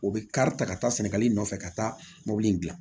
O bɛ kari ta ka taa sɛnɛgali nɔfɛ ka taa mobili in gilan